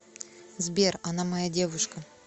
сбер она моя девушка